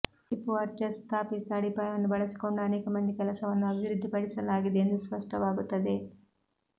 Hipparchus ಸ್ಥಾಪಿಸಿದ ಅಡಿಪಾಯವನ್ನು ಬಳಸಿಕೊಂಡು ಅನೇಕ ಮಂದಿ ಕೆಲಸವನ್ನು ಅಭಿವೃದ್ಧಿಪಡಿಸಲಾಗಿದೆ ಎಂದು ಸ್ಪಷ್ಟವಾಗುತ್ತದೆ